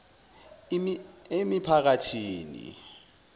emiphakathini